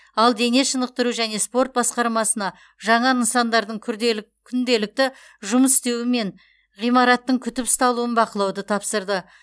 ал дене шынықтыру және спорт басқармасына жаңа нысандардың күнделікті жұмыс істеуі мен ғимараттың күтіп ұсталуын бақылауды тапсырды